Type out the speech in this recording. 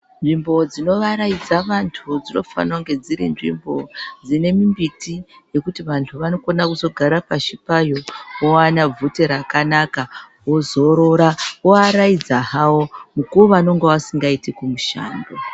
Nzvimbo dzinovaraidza vantu, dzinofana kunge dziri nzvimbo dzine mimbiti yekuti vantu vanokona kuzogara pashi payo, vowana bvute rakanaka, vozorora, voaraidza havo ,mukuwo yavanenge vasikaitiki kumushando.